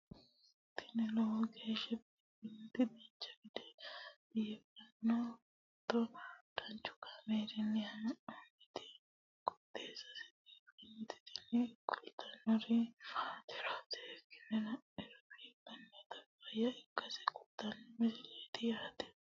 tini lowo geeshsha biiffannoti dancha gede biiffanno footo danchu kaameerinni haa'noonniti qooxeessa biiffannoti tini kultannori maatiro seekkine la'niro biiffannota faayya ikkase kultannoke misileeti yaate